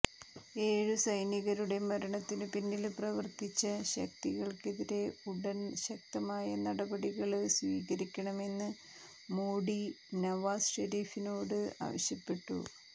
ഏഴു സൈനീകരുടെ മരണത്തിനു പിന്നില് പ്രവര്ത്തിച്ച ശക്തികള്ക്കെതിരെ ഉടന് ശക്തമായ നടപടികള് സ്വീകരിക്കണമെന്ന് മോഡി നവാസ് ഷെരീഫിനോട് ആവശ്യപ്പെട്ടു